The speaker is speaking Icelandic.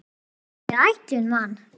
Það hafði verið ætlun van